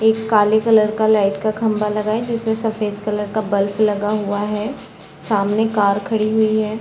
एक काले कलर का लाइट का खम्भा लगा है जिसमे सफ़ेद कलर का बल्ब लगा हुआ है सामने कार खड़ी हुई है ।